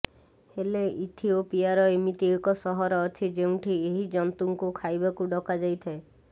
ହେଲେ ଇଥିଓପିଆର ଏମିତି ଏକ ସହର ଅଛି ଯେଉଁଠି ଏହି ଜନ୍ତୁଙ୍କୁ ଖାଇବାକୁ ଡକାଯାଇଥାଏ